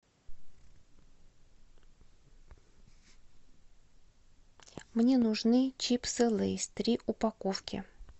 мне нужны чипсы лейс три упаковки